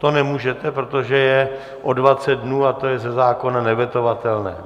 To nemůžete, protože je o 20 dnů a to je ze zákona nevetovatelné.